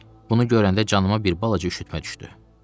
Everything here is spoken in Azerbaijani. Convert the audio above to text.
Bunu görəndə canıma bir balaca üşütmə düşdü.